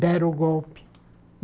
Deram o golpe